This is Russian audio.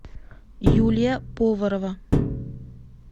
юлия поварова